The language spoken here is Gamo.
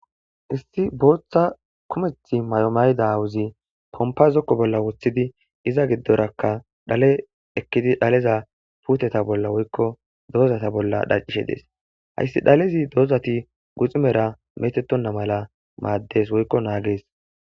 Issi booththa kumetha mayo mayida aawozi pompa zokko bolla wothidi iza giddorakka dhaleza puuteza bolla woykko dozaza bollahaysdi dhalezi ddozati guxunen meetettonna mala maaddees.